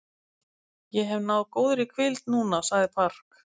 Ég hef náð góðri hvíld núna, sagði Park.